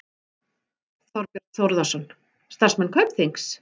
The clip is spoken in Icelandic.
Þorbjörn Þórðarson: Starfsmenn Kaupþings?